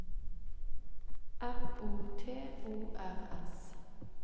M O T O R S